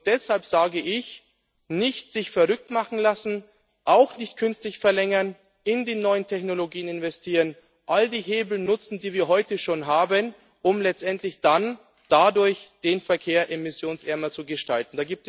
Deshalb rate ich dazu, sich nicht verrückt machen zu lassen, auch nicht künstlich zu verlängern, in die neuen Technologien zu investieren, all die Hebel zu nutzen, die wir heute schon haben, um letztendlich dann dadurch den Verkehr emissionsärmer zu gestalten.